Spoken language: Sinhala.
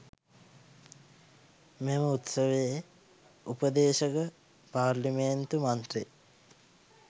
මෙම උත්සවයේ උපදේශක පාරේලිමේන්තු මන්ත්‍රී